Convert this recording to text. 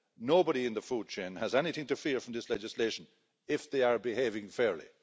Nobody in the food chain has anything to fear from this legislation if they are behaving fairly.